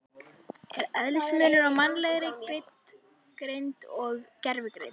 Er eðlismunur á mannlegri greind og gervigreind?